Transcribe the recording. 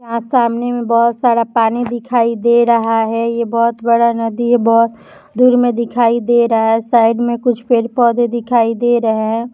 यहां सामने में बहुत सारा पानी दिखाई दे रहा है ये बहुत बड़ा नदी है बहुत दूर मे दिखाई दे रहा है साइड में कुछ पेड़ पौधे दिखाईं दे रहे है।